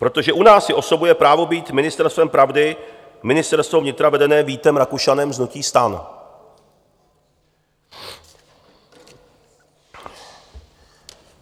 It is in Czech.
Protože u nás si osobuje právo být ministerstvem pravdy Ministerstvo vnitra vedené Vítem Rakušanem z hnutí STAN.